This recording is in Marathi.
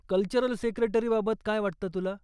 कल्चरल सेक्रेटरीबाबत काय वाटतं तुला?